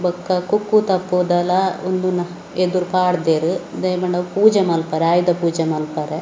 ಬೊಕ್ಕ ಕುಕ್ಕುತಪ್ಪುದಾಲ ಒಂದು ಎದುರು ಪಾಡ್ದೇರ್‌ ದಾಯೆಪಂಡ ಪೂಜೆ ಮಾಲ್ಪರೆ ಆಯುಧಪೋಜೆ ಮಾಲ್ಪರೆ.